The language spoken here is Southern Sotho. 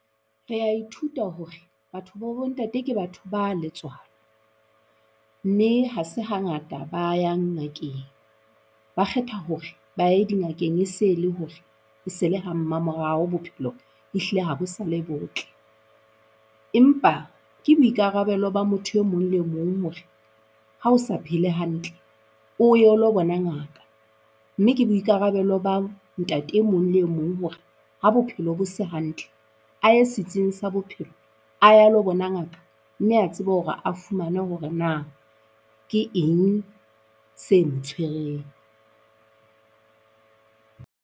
Rea ithuta hore batho ba bo ntate ke batho ba letswalo mme ha se hangata ba yang ngakeng. Ba kgetha hore ba ye dingakeng e se le hore e se le ha mmamoraho bophelo ehlile ha bo sa le botle. Empa ke boikarabelo ba motho e mong le mong hore ha o sa phele hantle, o ye o lo bona ngaka. Mme ke boikarabelo ba ntate e mong le mong hore ha bophelo bo se hantle a ye setsing sa bophelo a ye a lo bona ngaka mme a tsebe hore a fumane hore na ke eng se mo tshwereng.